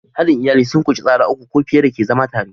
Haɗin iyali sun ƙunshi tsara uku ko fiye da ke zama tare.